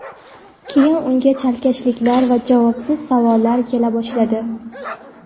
Keyin unga chalkashliklar va javobsiz savollar kela boshladi.